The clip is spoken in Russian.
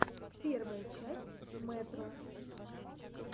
первая часть мэтро